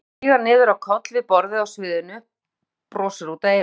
Hann lætur sig síga niður á koll við borðið á sviðinu, brosir út að eyrum.